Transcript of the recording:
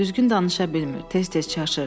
Düzgün danışa bilmir, tez-tez çaşır.